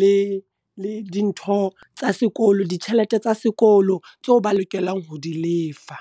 le le dintho tsa sekolo ditjhelete tsa sekolo tseo ba lokelang ho di lefa.